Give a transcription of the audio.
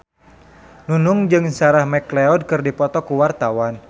Nunung jeung Sarah McLeod keur dipoto ku wartawan